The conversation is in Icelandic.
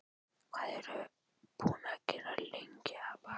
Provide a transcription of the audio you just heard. Hvað hvað ertu búin að vera lengi að baka?